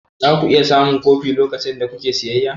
Za ku iya samun kofi lokacin da kuke siyayya?